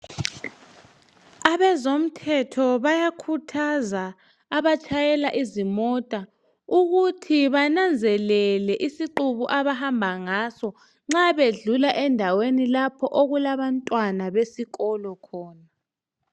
Abezomthetho bayakhuthaza abatshayela izimota ukuthi bananzelele isiqibu abahamba ngaso nxa bedlula lapho okulabantwana besikolo khona